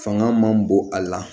Fanga man bon a la